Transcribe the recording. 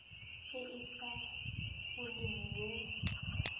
e e sa foleng yo